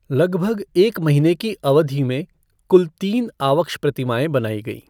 लगभग एक महीने की अवधि में कुल तीन आवक्ष प्रतिमाएं बनाई गईं।